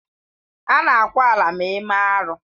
Ana ákwà ala ma eme arụ.